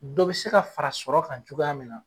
Dɔ bɛ se ka fara sɔrɔ ka cogoya min na.